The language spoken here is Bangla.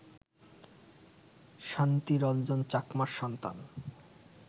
শান্তি রঞ্জন চাকমার সন্তান